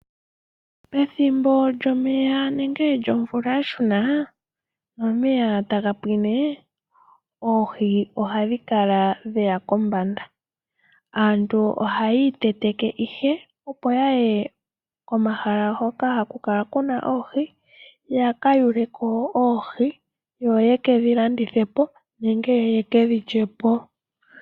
Ethimbo lyomeya nomvula yashuna nomeya taga pwine oohi ohadhiya kombanda. Aantu ohaya iteteke opo yaye komahala hoka hakukala kuna oohi yaka yule oohi yo yekedhilandithe po nenge yekedhilye po.